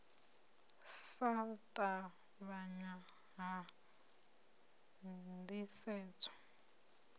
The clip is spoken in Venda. u sa ṱavhanya ha ndisedzo